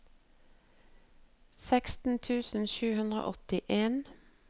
seksten tusen sju hundre og åttien